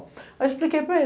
Aí eu expliquei para ele.